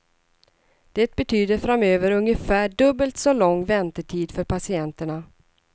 Det betyder framöver ungefär dubbelt så lång väntetid för patienterna.